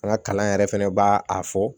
An ka kalan yɛrɛ fɛnɛ b'a a fɔ